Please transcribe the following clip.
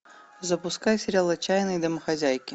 запускай сериал отчаянные домохозяйки